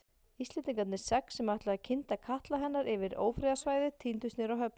Íslendingarnir sex, sem ætluðu að kynda katla hennar yfir ófriðarsvæðið tíndust niður á höfn.